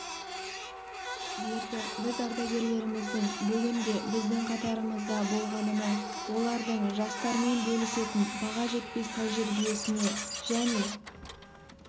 берді біз ардагерлеріміздің бүгін де біздің қатарымызда болғанына олардың жастармен бөлісетін баға жетпес тәжірибесіне және